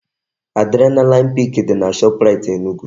Adrenaline pik dị na Shoprite Enugu